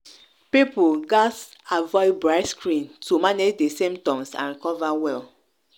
people gatz avoid bright screen to manage di symptoms and recover well.